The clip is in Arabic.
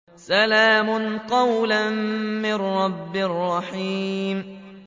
سَلَامٌ قَوْلًا مِّن رَّبٍّ رَّحِيمٍ